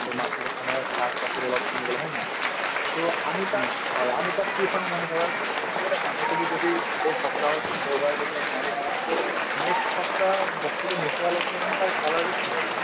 to market তত অলপ শাক-পাচলি কিনিবলৈ হয় নে নহয় to আমি তাত হয় আমি তাত কি চাওঁ মানে ধৰক আমি এটা বান্ধাকবি যদি এই সপ্তাহৰ দেওবাৰে যদি আমি আনিছো so next সপ্তাহ বস্তুতো নোপোৱালৈকে মানে তাৰ color য়ে হৈ যায়